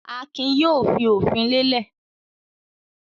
Akin yóò fi òfin lélẹ̀.